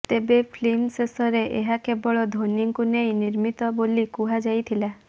ତେବେ ଫିଲ୍ମ ଶେଷରେ ଏହା କେବଳ ଧୋନୀଙ୍କୁ ନେଇ ନିର୍ମିତ ବୋଲିକୁହାଯାଇଥିଲା